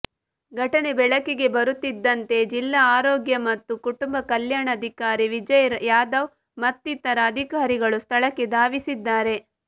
ಘಟನೆ ಬೆಳಕಿಗೆ ಬರುತ್ತಿದ್ದಂತೆ ಜಿಲ್ಲಾ ಆರೋಗ್ಯ ಮತ್ತು ಕುಟುಂಬ ಕಲ್ಯಾಣಾಧಿಕಾರಿ ವಿಜಯ್ ಯಾದವ್ ಮತ್ತಿತರ ಅಧಿಕಾರಿಗಳು ಸ್ಥಳಕ್ಕೆ ಧಾವಿಸಿದ್ದಾರೆ